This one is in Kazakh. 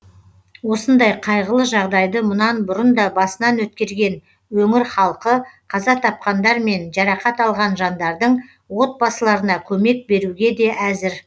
осындай қайғылы жағдайды мұнан бұрын да басынан өткерген өңір халқы қаза тапқандар мен жарақат алған жандардың отбасыларына көмек беруге де әзір